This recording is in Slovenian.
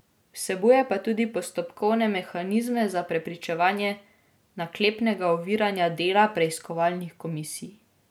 Vsebuje pa tudi postopkovne mehanizme za preprečevanje naklepnega oviranja dela preiskovalnih komisij.